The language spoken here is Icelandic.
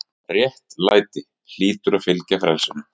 RÉTTLÆTI- hlýtur að fylgja frelsinu.